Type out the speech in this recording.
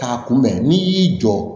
K'a kunbɛn n'i y'i jɔ